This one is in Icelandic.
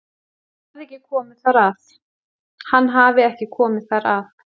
Hann hafi ekki komið þar að